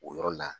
O yɔrɔ la